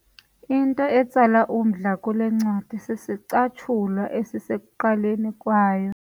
Into etsala umdla kule ncwadi sisicatshulwa esisekuqaleni kwayo.